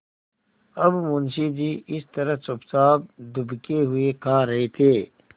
अब मुंशी जी इस तरह चुपचाप दुबके हुए खा रहे थे